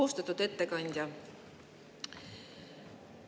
Austatud ettekandja!